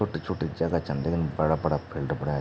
छोटी-छोटी जगह छन लेकिन बड़ा-बड़ा फील्ड बण्या।